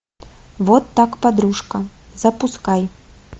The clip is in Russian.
вот так подружка запускай